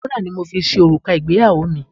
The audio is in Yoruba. Wúrà ni wón fi ṣe òrùka ìgbéyàwó mi.